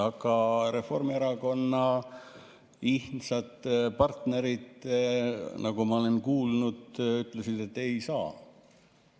Aga Reformierakonna ihnsad partnerid, nagu ma olen kuulnud, ütlesid, et ei saa.